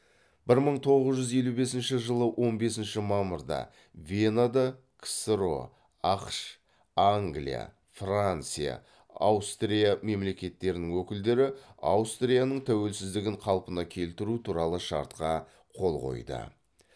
бір мың тоғыз жүз елу бесінші он бесінші мамырда венада ксро ақш англия франция аустрия мемлекеттерінің өкілдері аустрияның тәуелсіздігін қалпына келтіру туралы шартқа қол қойды